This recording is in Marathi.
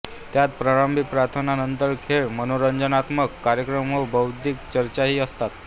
त्यात प्रारंभी प्रार्थना नंतर खेळ मनोरंजनात्मक कार्यक्रम व बौद्धिक चर्चाही असतात